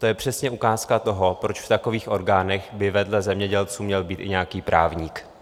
To je přesně ukázka toho, proč v takových orgánech by vedle zemědělců měl být i nějaký právník.